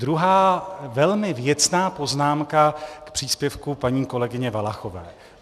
Druhá velmi věcná poznámka k příspěvku paní kolegyně Valachové.